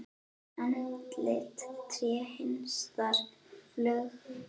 Andlit, tré, hestar, fuglar.